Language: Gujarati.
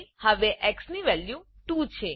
હવે એક્સ ની વેલ્યુ 2 છે